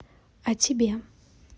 а тебе